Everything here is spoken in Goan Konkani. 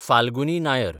फाल्गुनी नायर